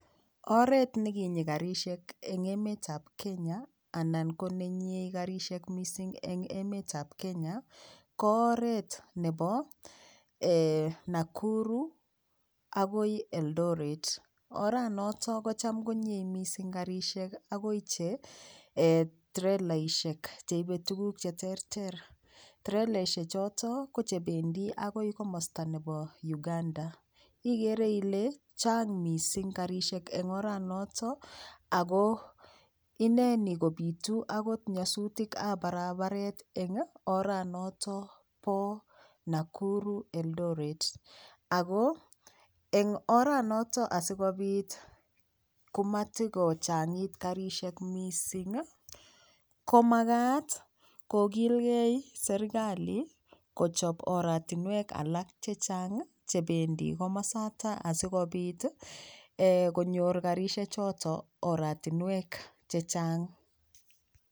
Oret nekinyi karishek eng' emetab Kenya anan ko nenyie Karishek mising eng' emetab Kenya ko oret nebo Nakuru akoi Eldoret oranoto kocham konyie mising' karishek akoi che trelaishek cheibei tukuk cheterter treleshe choto ko chebendi akoi komosta nebo uganda igere ile chang' mising karishek eng' oranoto ako ineni kobitu akot nyosutikab barabaret eng' oranoto bo Nakuru Eldoret Ako eng' oranoto asikobit komatikochag'it karishek mising komakat kokilgei serikali kochop oratinwek alak chechang' chebendi komosata asikobit konyor karishechoto oratinwek chechang'